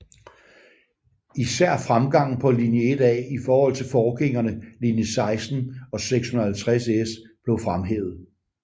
Især fremgangen på linje 1A i forhold til forgængerne linje 16 og 650S blev fremhævet